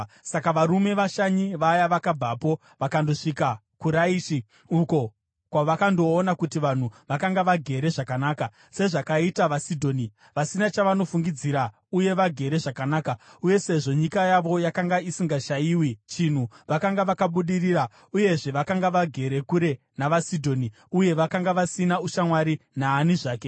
Saka varume vashanyi vaya vakabvapo vakandosvika kuRaishi, uko kwavakandoona kuti vanhu vakanga vagere zvakanaka, sezvakaita vaSidhoni, vasina chavanofungidzira uye vagere zvakanaka. Uye sezvo nyika yavo yakanga isingashayiwi chinhu, vakanga vakabudirira. Uyezve, vakanga vagere kure nava Sidhoni uye vakanga vasina ushamwari naani zvake.